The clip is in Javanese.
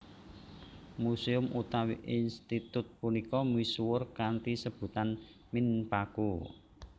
Museum utawi institut punika misuwur kanthi sebutan Minpaku